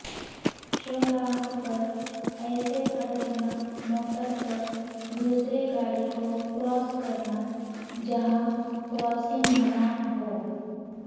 شاہراہ پر ایسے خطرناک موڑ پر دوسری گاڑی کو کراس کرناجہاں کراسنگ منع ہو